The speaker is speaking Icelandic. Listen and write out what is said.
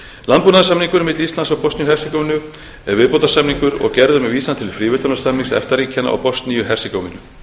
landbúnaðarsamningurinn milli íslands og bosníu og hersegóvínu er viðbótarsamningur og gerður með vísan til fríverslunarsamnings efta ríkjanna og bosníu og hersegóvínu